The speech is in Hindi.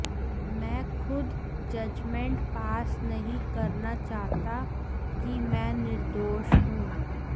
मैं खुद जजमेंट पास नहीं करना चाहता कि मैं निर्दोष हूं